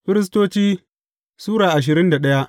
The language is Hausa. Firistoci Sura ashirin da daya